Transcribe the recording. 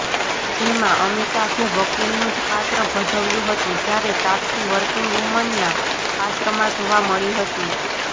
જેમાં અમિતાભે વકિલનું જ પાત્ર ભજવ્યું હતું જ્યારે તાપસી વર્કિંગ વુમનના પાત્રમાં જોવા મળી હતી